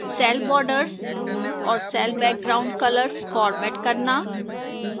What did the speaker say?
cell borders और cell background colors format करना